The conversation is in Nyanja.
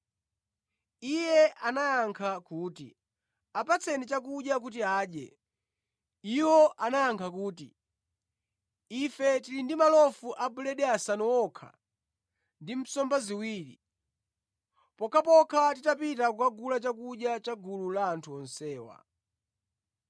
Iye anayankha kuti, “Apatseni chakudya kuti adye.” Iwo anayankha kuti, “Ife tili ndi malofu a buledi asanu okha ndi nsomba ziwiri, pokhapokha titapita kukagula chakudya cha gulu la anthu onsewa.”